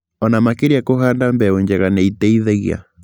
Ona makĩria kũhanda mbegũ njega nĩ iteithagia